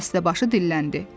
Dəstəbaşı dilləndi.